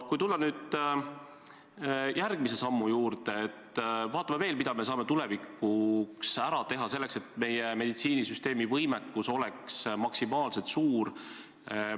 Kui nüüd tulla järgmise sammu juurde, siis vaatame veel, mida me saame tulevikuks ära teha selleks, et meie meditsiinisüsteemi võimekus oleks maksimaalselt suur.